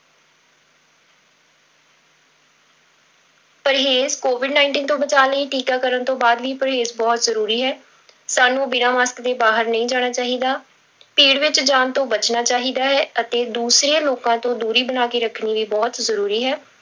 ਪਰਹੇਜ਼ covid nineteen ਤੋਂ ਬਚਾਅ ਲਈ ਟੀਕਾਕਰਨ ਤੋਂ ਬਾਅਦ ਵੀ ਪਰਹੇਜ਼ ਬਹੁਤ ਜ਼ਰੂਰੀ ਹੈ, ਸਾਨੂੰ ਬਿਨਾਂ mask ਦੇ ਬਾਹਰ ਨਹੀਂ ਜਾਣਾ ਚਾਹੀਦਾ, ਭੀੜ ਵਿੱਚ ਜਾਣ ਤੋਂ ਬਚਣਾ ਚਾਹੀਦਾ ਹੈ ਅਤੇ ਦੂਸਰੇ ਲੋਕਾਂ ਤੋਂ ਦੂਰੀ ਬਣਾ ਕੇ ਰੱਖਣੀ ਵੀ ਬਹੁਤ ਜ਼ਰੂਰੀ ਹੈ।